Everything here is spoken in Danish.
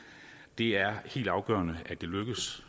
det er helt afgørende at det lykkes